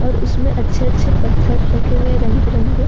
उसमें अच्छे अच्छे पत्थर रखे हुए है रंग बिरंगे।